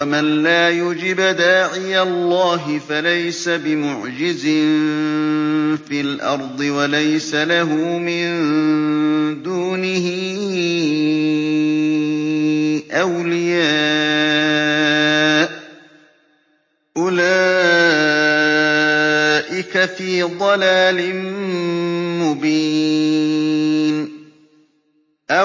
وَمَن لَّا يُجِبْ دَاعِيَ اللَّهِ فَلَيْسَ بِمُعْجِزٍ فِي الْأَرْضِ وَلَيْسَ لَهُ مِن دُونِهِ أَوْلِيَاءُ ۚ أُولَٰئِكَ فِي ضَلَالٍ مُّبِينٍ